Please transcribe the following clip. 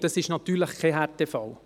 Dies ist natürlich kein Härtefall.